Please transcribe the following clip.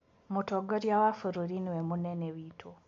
Mũtongoria wa bũrũri nĩwe mũnene witũ.